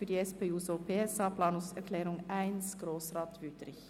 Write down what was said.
Für die Planungserklärung 1 spricht Grossrat Wüthrich.